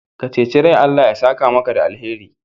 Ka ceci rai, Allah ya saka maka da alheri.